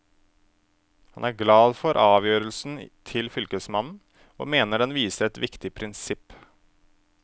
Han er glad for avgjørelsen til fylkesmannen, og mener den viser et viktig prinsipp.